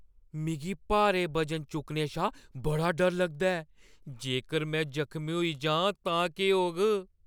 मिगी भारे बजन चुक्कने शा बड़ा डर लगदा ऐ। जेकर में जखमी होई जांऽ तां केह् होग?